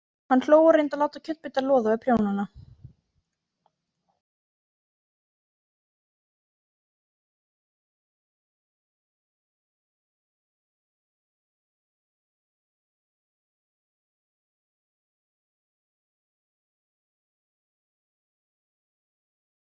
Þú stendur þig vel, Anita!